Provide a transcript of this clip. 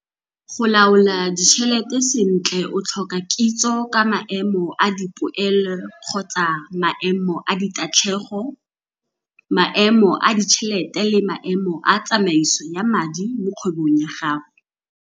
Go laola ditšhelete sentle o tlhoka kitso ka maemo a dipoelo-ditatlhego, maemo a ditšhelete le maemo a tsamaiso ya madi mo kgwebong ya gago.